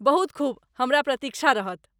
बहुत खूब, हमरा प्रतिक्षा रहत।